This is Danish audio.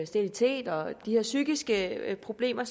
sterilitet og psykiske problemer